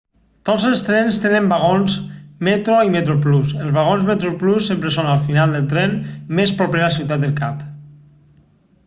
tots els trens tenen vagons metro i metroplus els vagons metroplus sempre són al final del tren més proper a ciutat del cap